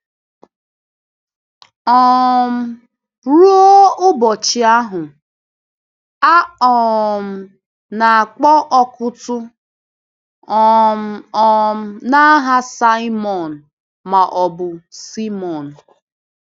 um Ruo ụbọchị ahụ, a um na-akpọ Ọkụ́tụ̀ um um n’aha Saimọn, ma ọ bụ Sịmẹọn.